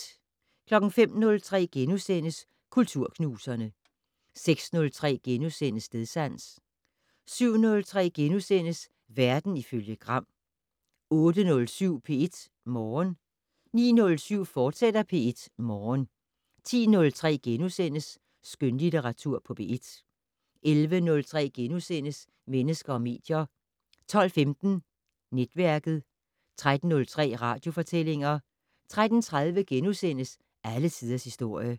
05:03: Kulturknuserne * 06:03: Stedsans * 07:03: Verden ifølge Gram * 08:07: P1 Morgen 09:07: P1 Morgen, fortsat 10:03: Skønlitteratur på P1 * 11:03: Mennesker og medier * 12:15: Netværket 13:03: Radiofortællinger 13:30: Alle tiders historie *